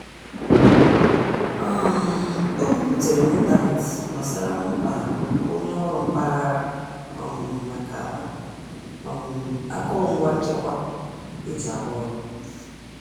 um O biputere na ntanetị gbasara mkpa onye ọrụ mpaghara um maka um akụrụngwa nchekwa e ji a rụ ọrụ.